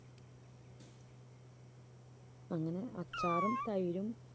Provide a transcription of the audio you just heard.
അങ്ങനെ അച്ചാറും തൈരും